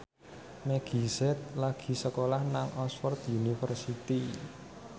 Meggie Z lagi sekolah nang Oxford university